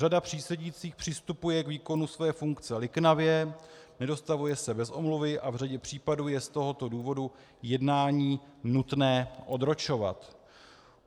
Řada přísedících přistupuje k výkonu své funkce liknavě, nedostavuje se bez omluvy a v řadě případů je z tohoto důvodu jednání nutné odročovat.